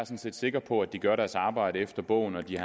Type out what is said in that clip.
set sikker på at de gør deres arbejde efter bogen og de